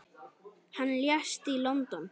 Hann lést í London.